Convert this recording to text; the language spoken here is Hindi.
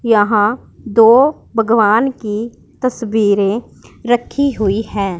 यहां दो भगवान की तस्वीरें रखी हुई हैं।